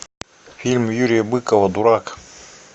фильм юрия быкова дурак